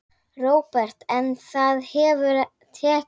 Róbert: En það hefur tekist?